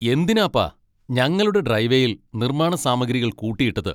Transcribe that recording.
എന്തിനാപ്പാ ഞങ്ങളുടെ ഡ്രൈവേയിൽ നിർമ്മാണ സാമഗ്രികൾ കൂട്ടിയിട്ടത്?